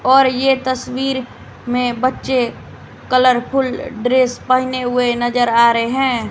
और यह तस्वीर में बच्चे कलरफुल ड्रेस पहने हुए नजर आ रहे हैं।